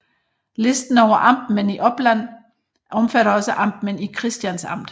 Listen over amtmænd i Oppland omfatter også amtmænd i Kristians Amt